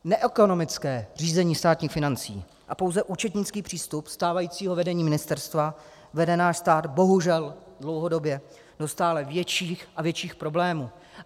Neekonomické řízení státních financí a pouze účetnický přístup stávajícího vedení ministerstva vede náš stát bohužel dlouhodobě do stále větších a větších problémů.